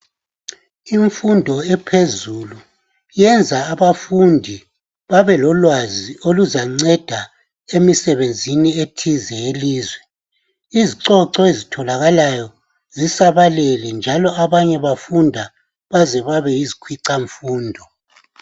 Imfundo ephezulu iyenza abafundi babelolwazi oluzanceda emisebenzini ethize yelizwe. Izicoco ezitholakalayo zisabalele njalo abanye bafunda baze babe yizikhwicamfundo.